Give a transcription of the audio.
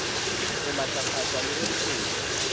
ho matlafatswa le ho ntshetswa